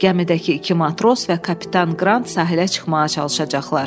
"Gəmidəki iki matros və kapitan Qrant sahilə çıxmağa çalışacaqlar."